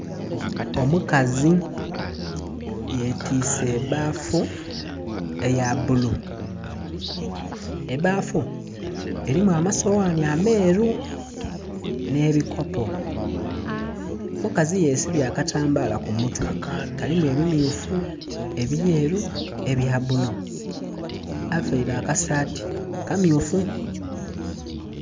Omukazi yetwise ebbafu eyabbulu, ebbafu erimu amasoghani ameru n'ebikopo. Omukazi ayesibye akatambala kumutwe kalimu ebimmyufu, ebyeru, ebyabbulu avaire akasati akammyufu.